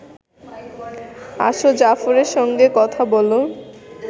আসো জাফরের সঙ্গে কথা বলো